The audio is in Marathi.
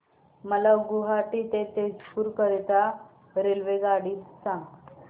मला गुवाहाटी ते तेजपुर करीता रेल्वेगाडी सांगा